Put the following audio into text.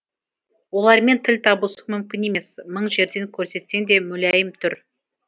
олармен тіл табысу мүмкін емес мың жерден көрсетсең де мүләйім түр